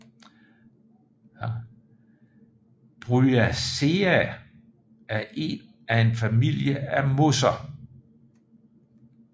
Bryaceae er en familie af mosser